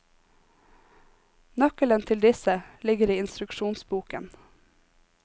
Nøkkelen til disse ligger i instruksjonsboken.